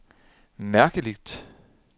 mærkeligt